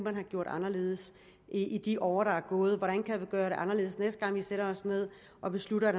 man have gjort anderledes i de år der er gået hvordan kan vi gøre det anderledes næste gang vi sætter os ned og beslutter at